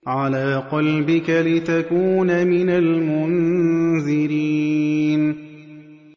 عَلَىٰ قَلْبِكَ لِتَكُونَ مِنَ الْمُنذِرِينَ